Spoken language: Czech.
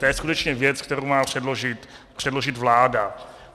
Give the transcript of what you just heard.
To je skutečně věc, kterou má předložit vláda.